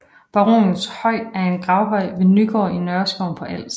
Baronens høj er en gravhøj ved Nygård i Nørreskoven på Als